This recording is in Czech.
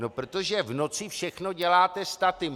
No protože v noci všechno děláte statim.